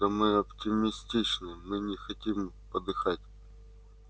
да мы оптимистичны мы не хотим подыхать